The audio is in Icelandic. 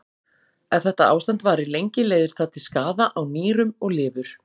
Ef þetta ástand varir lengi leiðir það til skaða á nýrum og lifur.